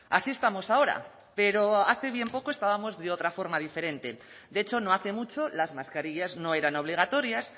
así estamos ahora pero hace bien poco estábamos de otra forma diferente de hecho no hace mucho las mascarillas no eran obligatorias